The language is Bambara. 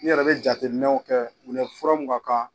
N yɛrɛ be jateminɛw kɛ u fura mun ka kan.